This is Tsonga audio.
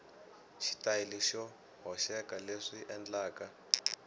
xitayili xo hoxeka leswi endlaka